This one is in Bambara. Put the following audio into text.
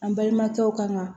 An balimakɛw kan ka